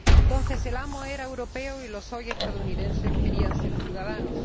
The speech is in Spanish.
Entonces, el amo era europeo y los hoy estadounidenses querían ser ciudadanos.